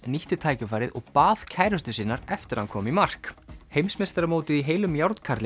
nýtti tækifærið og bað kærustu sinnar eftir að hann kom í mark heimsmeistaramótið í heilum